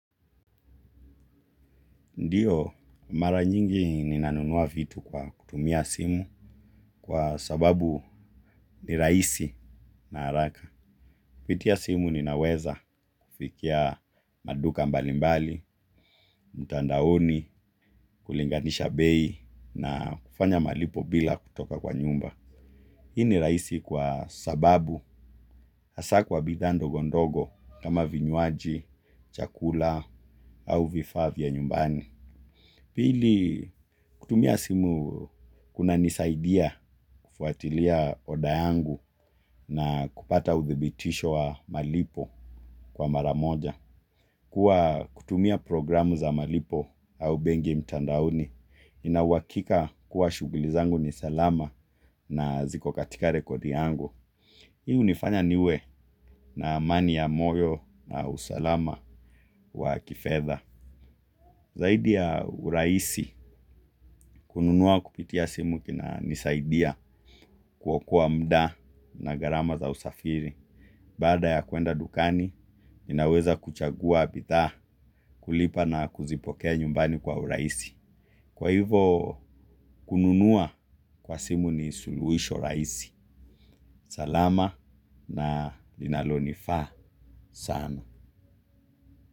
Ndiyo, mara nyingi ninanunua vitu kwa kutumia simu kwa sababu ni rahisi na haraka. Kupitia simu ninaweza kufikia maduka mbalimbali, mtandaoni, kulinganisha bei na kufanya malipo bila kutoka kwa nyumba. Hii ni rahisi kwa sababu hasa kwa bidhaa ndogo ndogo kama vinywaji, chakula au vifaa vya nyumbani. Pili kutumia simu kuna nisaidia kufuatilia order yangu na kupata udhibitisho wa malipo kwa mara moja. Kua kutumia programu za malipo au benki mtandaoni nina uhakika kuwa shughuli zangu ni salama na ziko katika rekodi yangu. Hii hunifanya niwe na amani ya moyo na usalama wa kifedha. Zaidi ya urahisi, kununua kupitia simu kunanisaidia kuokoa muda na gharama za usafiri. Baada ya kuenda dukani, ninaweza kuchagua bidhaa kulipa na kuzipokea nyumbani kwa urahisi. Kwa hivo, kununua kwa simu ni suluhisho rahisi. Salama na linalo nifaa sana.